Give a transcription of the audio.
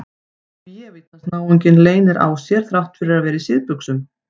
Bévítans náunginn leynir á sér þrátt fyrir að vera í síðbuxum!